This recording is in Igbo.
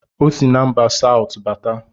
Ọ sị na mba Satụ bata